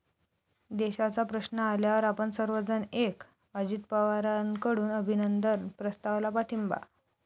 देशाचा प्रश्न आल्यावर आपण सर्वजण एक', अजित पवारांकडून अभिनंदन प्रस्तावाला पाठिंबा